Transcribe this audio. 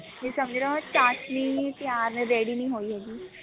ਵੀ ਸਮਝ ਲੋ ਮੈਂ ਚਾਸਣੀ ਤਿਆਰ ready ਨਹੀਂ ਹੋਈ ਹੈਗੀ